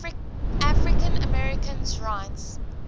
african americans rights